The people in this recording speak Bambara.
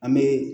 An bɛ